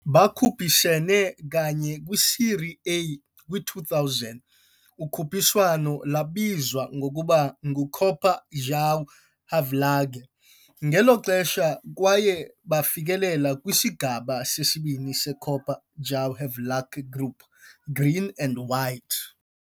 Bakhuphisene kanye kwi-Série A kwi-2000, ukhuphiswano lwabizwa ngokuba nguCopa João Havelange ngelo xesha, kwaye bafikelela kwiSigaba seSibini seCopa João Havelange Group Green and White.